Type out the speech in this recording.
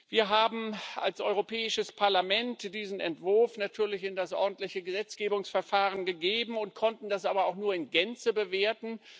Wir haben als Europäisches Parlament diesen Entwurf natürlich in das ordentliche Gesetzgebungsverfahren gegeben und konnten das aber auch nur in Gänze bewerten.